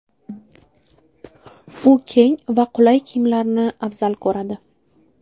U keng va qulay kiyimlarni afzal ko‘radi.